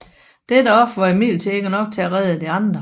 Dette offer var imidlertid ikke nok til at redde de andre